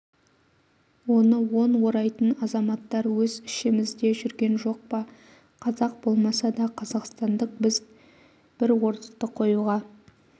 оны он орайтын азаматтар өз ішімізде жүрген жоқ па қазақ болмаса да қазақстандық бір орысты қоюға